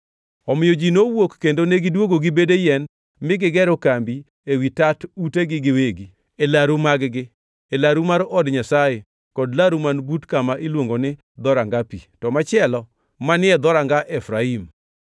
Omiyo ji nowuok kendo negidwogo gi bede yien mi gigero kambi ewi tat utegi giwegi, e laru mag-gi, e laru mar od Nyasaye kod laru man but kama iluongo ni Dhoranga Pi, to machielo manie Dhoranga Efraim.